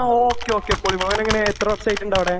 ങാ, ഓക്കേ, ഓക്കേ.പൊളി, പൊളി.ഓനെങ്ങനെ, എത്ര വർഷമായിട്ടുണ്ട് അവിടെ?